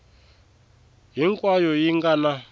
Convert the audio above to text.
a hinkwayo yi nga na